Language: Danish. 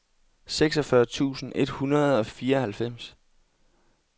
seksogfyrre tusind et hundrede og fireoghalvfems